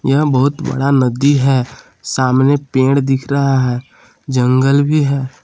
यह बहुत बड़ा नदी है सामने पेड़ दिख रहा है जंगल भी है।